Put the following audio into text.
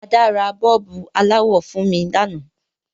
Ada ra bọ́ọ̀bù aláwọ̀ fun mi lanáà